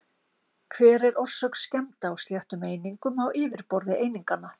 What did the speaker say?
Hver er orsök skemmda á sléttum einingum á yfirborði eininganna?